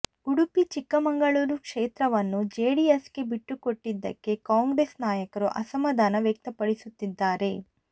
ಉಡುಪಿ ಚಿಕ್ಕಮಗಳೂರು ಕ್ಷೇತ್ರವನ್ನು ಜೆಡಿಎಸ್ಗೆ ಬಿಟ್ಟುಕೊಟ್ಟಿದ್ದಕ್ಕೆ ಕಾಂಗ್ರೆಸ್ ನಾಯಕರು ಅಸಮಾಧಾನ ವ್ಯಕ್ತಪಡಿಸುತ್ತಿದ್ದಾರೆ